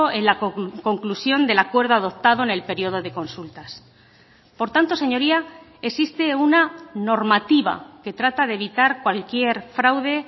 en la conclusión del acuerdo adoptado en el periodo de consultas por tanto señoría existe una normativa que trata de evitar cualquier fraude